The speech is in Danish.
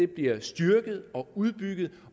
bliver styrket og udbygget